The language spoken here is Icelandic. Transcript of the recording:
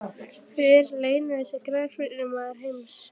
Hver er launahæsti Knattspyrnumaður heims?